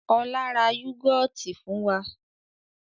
Ọlá ra yúgọ́ọ́tì fún wa.